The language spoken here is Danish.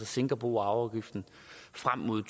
sænker bo og arveafgiften frem mod